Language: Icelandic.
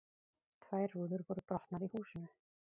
Tvær rúður voru brotnar í húsinu